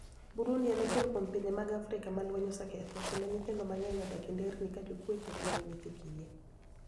Burunidi eni achiel kuom pinije mag Afrika ma lweniy oseketho, kenido niyithinido manig'eniy odak e nidernii ka jokwecho kenido niyithi kiye.